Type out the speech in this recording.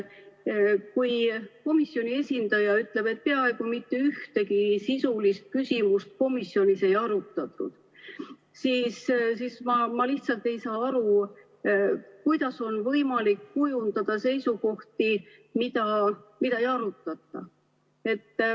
Kui komisjoni esindaja ütleb, et peaaegu mitte ühtegi sisulist küsimust komisjonis ei arutatud, siis ma lihtsalt ei saa aru, kuidas on võimalik kujundada seisukohti, mida ei arutata.